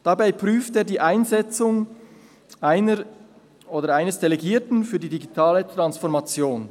Dabei prüft er die Einsetzung einer oder eines Delegierten für die digitale Transformation.